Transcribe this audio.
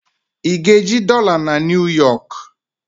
Ị ga-eji dọla na New Yọk?